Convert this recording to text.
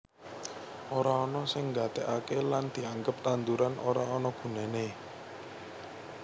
Ora ana sing nggatekake lan dianggep tanduran ora ana gunane